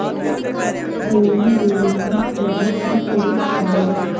ഭൂമിദേവിക്കും ലഭിച്ചു ഒരു ശാപം